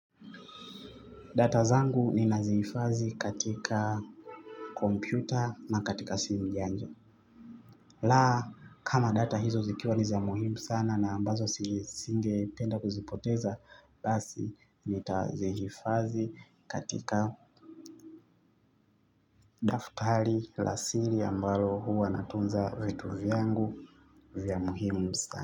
Data zangu nina zihifadhi katika kompyuta na katika simu janja. La kama data hizo zikiwa ni za muhimu sana na ambazo sigependa kuzipoteza basi nitazihifadhi katika daftari la siri ambalo huwa natunza vitu vyangu vya muhimu sana.